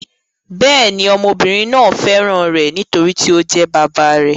Bẹ́ẹ̀ ni, ọmọbìnrin náà fẹ́ràn rẹ̀, nítorí tí ó jẹ́ bàbá rẹ̀.